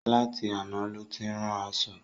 Látì aná ló ti ń rán aṣọ̣.